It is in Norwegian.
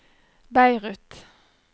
Beirut